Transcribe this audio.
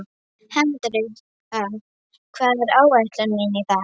Hendrikka, hvað er á áætluninni minni í dag?